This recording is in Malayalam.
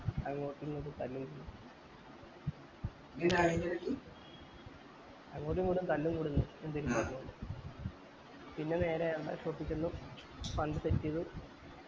അങ്ങോട്ട് ഇങ്ങോട്ടു തല്ല് കൂട്ന്ന് അങ്ങോട്ട് ഇങ്ങോട്ടു തല്ല് കൂട്ന്ന് എന്തേലു പറഞ്ഞോണ്ട് പിന്നെ നേരെ work shape ചെന്നു fund set ചെയ്തു